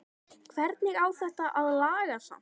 Hvernig á þetta að lagast samt??